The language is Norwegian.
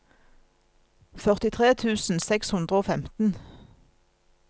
førtitre tusen seks hundre og femten